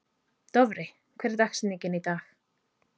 Dofri, hver er dagsetningin í dag?